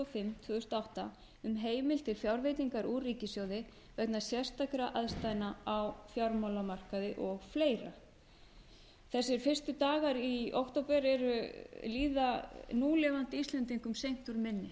fimm tvö þúsund og átta um heimild til fjárveitingar úr ríkissjóði vegna sérstakra aðstæðna á fjármálamarkaði og fleiri þessir fyrstu dagar í október líða núlifandi íslendingum seint úr minni